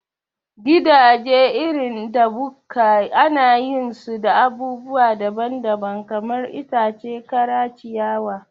Gidaje irin da bukka anayin su da abubuwa daban daban, kamar itace kara, ciyawa